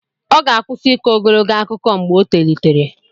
Ọ ga-akwụsị ịkọ ogologo akụkọ mgbe o tolitere.